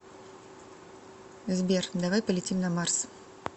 сбер давай полетим на марс